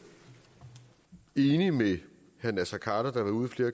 de